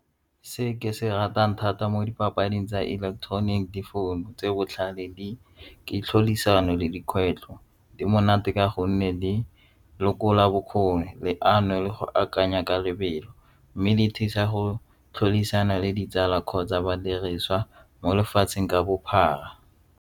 Se ke se ratang thata mo dipapading tsa ileketeroniki difounu tse botlhale ke tlhodisano le dikgwetlho di monate ka gonne di lekola bokgoni, leano le go akanya ka lebelo mme di thusa go tlhodisano le ditsala kgotsa badirisa mo lefatsheng ka bophara.